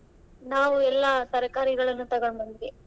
ನಾವು ಎಲ್ಲಾ ತರ್ಕಾರಿಗಳನ್ನ ತಗೊಂಬಂದ್ವಿ.